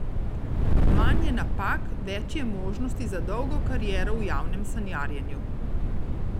Manj je napak, več je možnosti za dolgo kariero v javnem sanjarjenju.